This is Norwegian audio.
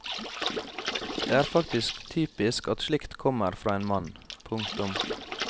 Det er faktisk typisk at slikt kommer fra en mann. punktum